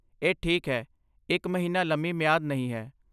ਇਹ ਠੀਕ ਹੈ, ਇੱਕ ਮਹੀਨਾ ਲੰਮੀ ਮਿਆਦ ਨਹੀਂ ਹੈ।